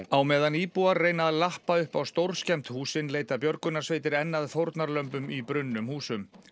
á meðan íbúar reyna að lappa upp á stórskemmd húsin leita björgunarsveitir enn að fórnarlömbum í brunnum húsum